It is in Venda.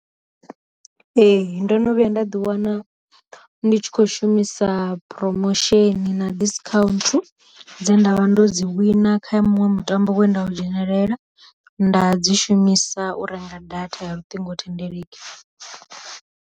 Ee ndo no vhuya nda ḓi wana ndi tshi kho shumisa promotion na discount dze nda vha ndo dzi wina kha muṅwe mutambo we nda u dzhenelela, nda dzi shumisa u renga data ya luṱingo thendeleki.